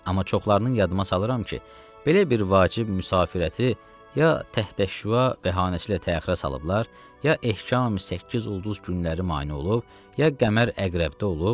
Amma çoxlarını yadıma salıram ki, belə bir vacib müsafirəti ya təhtəşüa bəhanəcilə təxirə salıblar, ya ehkami səkkizulduz günləri mane olub, ya qəmər əqrəbdə olub.